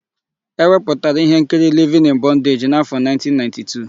E wepụtara íhénkiri Livin ịn Bọndeji n'áfọ̀1992.